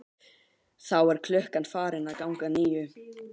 Þá er klukkan farin að ganga níu.